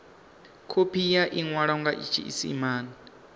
khophi ya iwalwa nga tshiisimane